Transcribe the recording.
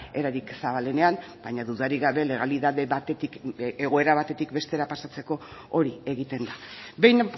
erarik zabalenean baina dudarik gabe legalitate batetik egoera batetik bestera pasatzeko hori egiten da behin